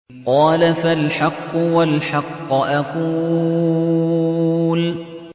قَالَ فَالْحَقُّ وَالْحَقَّ أَقُولُ